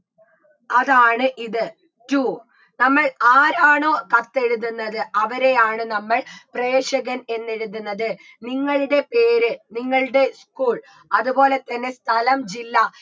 അതാണ് ഇത് to നമ്മൾ ആരാണോ കത്തെഴുതുന്നത് അവരെയാണ് നമ്മൾ പ്രേഷകൻ എന്ന് എഴുതുന്നത് നിങ്ങളുടെ പേര് നിങ്ങളുടെ school അത്പോലെ തന്നെ സ്ഥലം ജില്ല